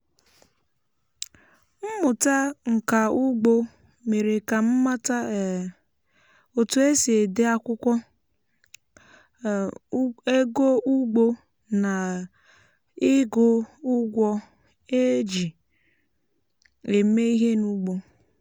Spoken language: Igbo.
mmụta nka ugbo mere ka m mata um otu esi ede akwụkwọ um ego ugbo na um ịgụ ụgwọ e e ji eme ihe n’ugbo